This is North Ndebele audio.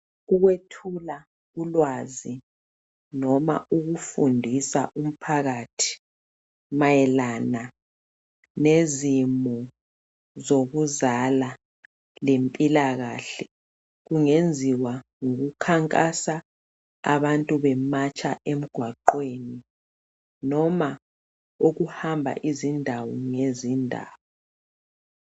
ukwethula ulwazi noma ukufundisa umphakathi mayelana lezimo zokuzala lempilakahle kungenziwa ngokukhankasa abantu bematsha emgwaqweni noma ukuhamba izindawo ngzindawo